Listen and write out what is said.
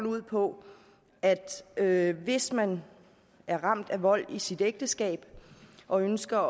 ud på at hvis man er ramt af vold i sit ægteskab og ønsker